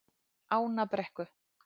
Ánabrekku